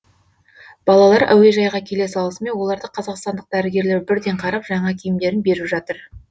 балалар әуежайға келе салысымен оларды қазақстандық дәрігерлер бірден қарап жаңа киімдерін беріп жатыр